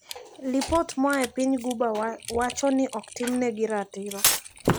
Lipot moae piny guba wacho ni okotimnegi ratiro.